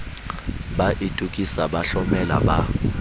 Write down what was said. ba itokisa ba hlomela ba